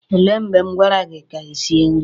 O lee mgbe m gwara gị ka i sie nri?